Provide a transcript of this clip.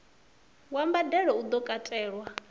wa mbadelo u do katelwa